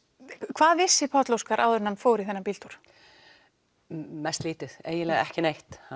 hvað vissi Páll Óskar áður en hann fór í þennan bíltúr mest lítið eiginlega ekki neitt hann